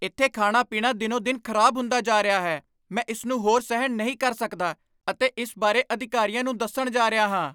ਇੱਥੇ ਖਾਣਾ ਪੀਣਾ ਦਿਨੋ ਦਿਨ ਖ਼ਰਾਬ ਹੁੰਦਾ ਜਾ ਰਿਹਾ ਹੈ ਮੈਂ ਇਸ ਨੂੰ ਹੋਰ ਸਹਿਣ ਨਹੀਂ ਕਰ ਸਕਦਾ ਅਤੇ ਇਸ ਬਾਰੇ ਅਧਿਕਾਰੀਆਂ ਨੂੰ ਦੱਸਣ ਜਾ ਰਿਹਾ ਹਾਂ